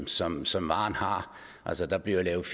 som som varen har altså der bliver lavet